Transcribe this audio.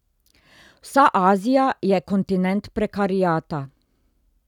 Vsa Azija je kontinent prekariata.